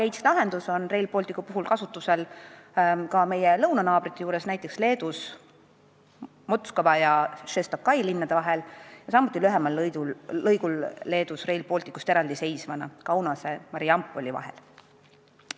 Dual gauge on Rail Balticu trassil kasutusel meie lõunanaabrite juures, näiteks Leedus Mockava ja Šeštokai linna vahel, samuti Rail Balticust eraldi seisval lühemal lõigul Kaunase ja Marijampole vahel.